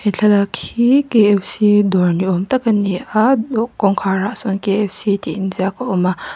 thlalak hi k f c dawr ni awm tak a ni a tin kawngkhar ah sawn k f c tih in ziak a awm a.